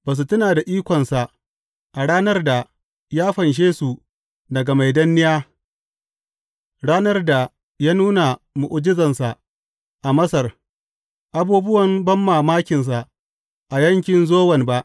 Ba su tuna da ikonsa, a ranar da ya fanshe su daga mai danniya, ranar da ya nuna mu’ujizansa a Masar abubuwan banmamakinsa a yankin Zowan ba.